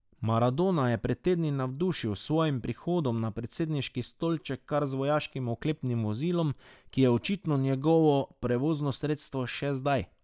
Maradona je pred tedni navdušil s svojim prihodom na predsedniški stolček kar z vojaškim oklepnim vozilo, ki je očitno njegovo prevozno sredstvo še zdaj.